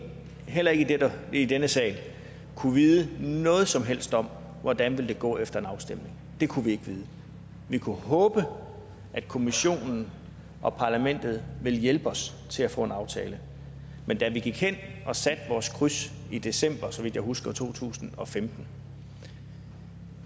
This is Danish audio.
heller ikke i denne sal kunne vide noget som helst om hvordan det ville gå efter en afstemning det kunne vi ikke vide vi kunne håbe at kommissionen og parlamentet ville hjælpe os til at få en aftale men da vi gik hen og satte vores kryds i december så vidt jeg husker to tusind og femten